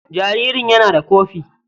Jaririn yana da kofi.